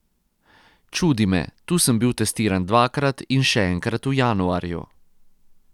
Čudi me, tu sem bil testiran dvakrat in še enkrat v januarju.